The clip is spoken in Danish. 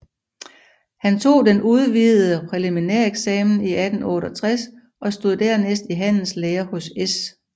Han tog den udvidede præliminæreksamen 1868 og stod dernæst i handelslære hos S